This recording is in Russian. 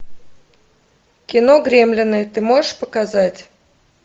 кино гремлины ты можешь показать